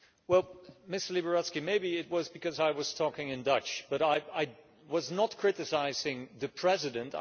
Well Mr Liberadzki, maybe it was because I was talking Dutch, but I was not criticising the President